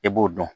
I b'o dɔn